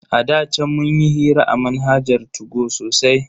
A da chan munyi hira a manhajar 2go sosai.